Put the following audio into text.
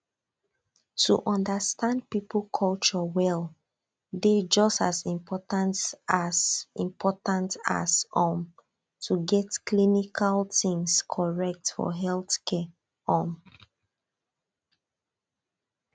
to understand people culture well dey just as important as important as um to get clinical things correct for healthcare um